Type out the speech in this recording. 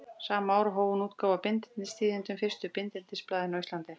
Sama ár hóf hún útgáfu á Bindindistíðindum, fyrsta bindindisblaðinu á Íslandi.